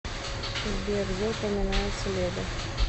сбер где упоминается леда